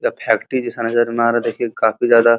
ये फैक्ट्री जैसा नज़र में आ रहा है। देखिए काफी ज्यादा --